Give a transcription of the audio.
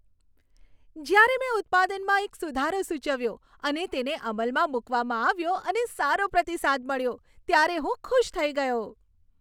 જ્યારે મેં ઉત્પાદનમાં એક સુધારો સૂચવ્યો, અને તેને અમલમાં મૂકવામાં આવ્યો અને સારો પ્રતિસાદ મળ્યો, ત્યારે હું ખુશ થઈ ગયો.